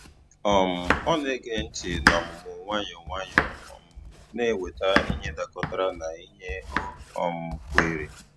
um Ọ na-ege ntị n’ọmụmụ nwayọ nwayọ, um na-eweta ihe dakọtara na ihe o um kweere.